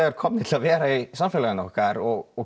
komnir til að vera í samfélaginu og